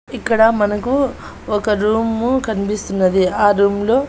ఇక్కడ మనకు ఒక రూము కన్పిస్తున్నది ఆ రూంలో --